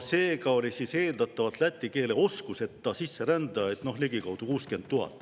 Seega oli eeldatavalt läti keele oskuseta sisserändajaid ligikaudu 60 000.